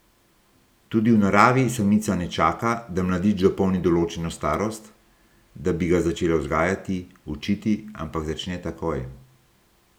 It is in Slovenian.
Tudi v naravi samica ne čaka, da mladič dopolni določeno starost, da bi ga začela vzgajati, učiti, ampak začne takoj.